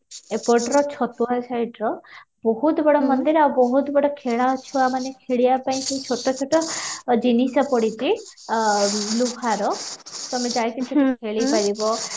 ଏପଟର ଛତୁଆ side ର ବହୁତ ବଡ ମନ୍ଦିର ଆଉ ବହୁତ ଖେଳ ଛୁଆ ମାନେ ଖେଳିବା ପାଇଁ କି ଛୋଟ ଛୋଟ ଜିନିଷ ପଡିଛି ଆଃ ଲୁହାର ତମେ ଯାଇ କି ସେଠି ଖେଳି ପାରିବ